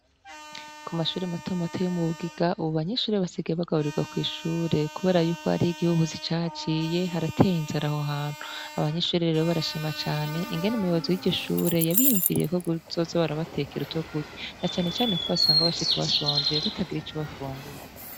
Ku mashure matomato yo mu bugiga, ubu banyinshure basigaye bagaburirwa kw'ishure, kubera yuko ari igihuhuzi caciye harateye inzaraho hantu abanyishure rero barashima cane ingene umuyobozi y'igishure yabiyumviriye ko guzoza barabatekera uto kurya na canecane ko hasanga abashika bashonje batagira ico bafungura.